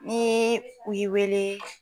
Ni u ye wele